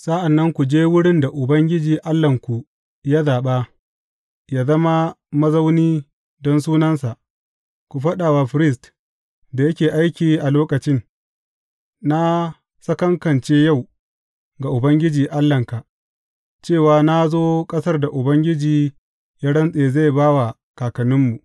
Sa’an nan ku je wurin da Ubangiji Allahnku ya zaɓa yă zama mazauni don Sunansa, ku faɗa wa firist da yake aiki a lokacin, Na sakankance yau ga Ubangiji Allahnka, cewa na zo ƙasar da Ubangiji ya rantse zai ba wa kakanninmu.